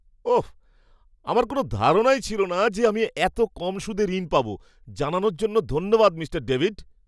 ওঃ! আমার কোনও ধারণাই ছিল না যে আমি এত কম সুদে ঋণ পাব। জানানোর জন্য ধন্যবাদ, মিঃ ডেভিড।